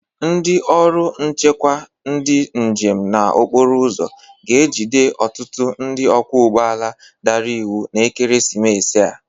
Ndị ọrụ nchekwa ndị njem na okporoụzọ ga-ejide ọtụtụ ndị ọgwọ ụgbọala dara iwu n'ekeresimesi a.